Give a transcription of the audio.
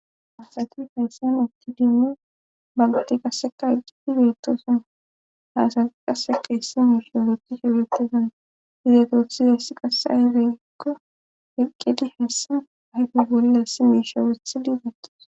Asati haysan utidine bangati qasseka iqqidi birtoosan haasa qase qeessi miishorethi shewetisan hizetothi teessi qasse ayifekko eqqedi heessa ahgi bollassi miishewethi digatis